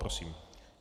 Prosím.